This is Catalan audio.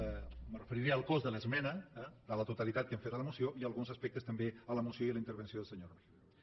me referiré al cos de l’esmena a la totalitat que hem fet a la moció i a alguns aspectes també a la moció i a la intervenció del senyor rull